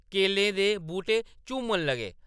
केलें दे बूह्‌‌टे झूमन लगे।